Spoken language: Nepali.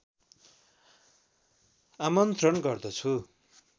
आमन्त्रण गर्दछु